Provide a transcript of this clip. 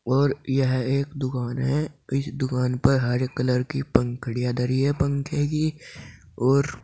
और यह एक दुकान है इस दुकान पर हरे कलर की पंखुड़ियां धरी है पंखे की और--